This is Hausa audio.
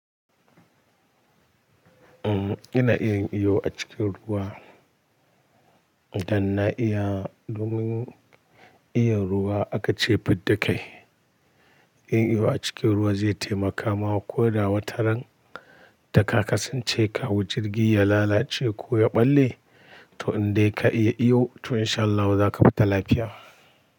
Uhm, ina iyayin iyo a cikin ruwa, idan na iya domin iya ruwa aka ce fid da kai. Yin iyo a cikin ruwa zai taimaka ma ko da wataran da ka kasance ka hau jirgi ya lalace ko ya ɓalle to in dai ka iya iyo to insha Allah zaka fita lafiya.